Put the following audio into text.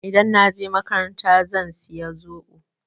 Idan na je makaranta zan saya zoɓo.